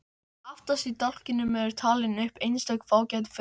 Aftast í dálknum eru talin upp einstök fágæt frjókorn.